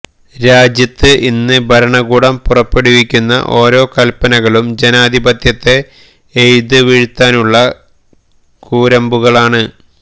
രാജ്യത്ത് ഇന്ന് ഭരണകൂടം പുറപ്പെടുവിക്കുന്ന ഓരോ കൽപനകളും ജനാധിപത്യത്തെ എയ്ത് വീഴ്ത്താനുള്ള കൂരമ്പുകളാണ്